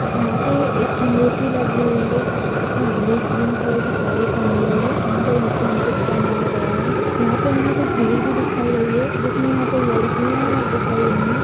यहाँ पे एक मूर्ति लगी हुई है। जिसने ग्ली ग्रीन कलर की शाडी पहनी हुई है। एंड अं यहाँ पे मुकुट पहनाया गया है। यहाँ पे हमें कुछ भीड़ भी दिखाई गयी है। जिसमें यहाँ पे लड़कियां है। दिखाई गयी है।